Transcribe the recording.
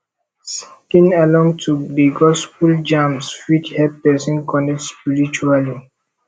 singing along to the gospel jams fit help person connect spiritually